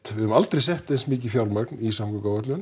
við höfum aldrei sett eins mikið fé í samgönguáætlun